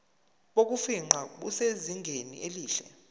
bokufingqa busezingeni elihle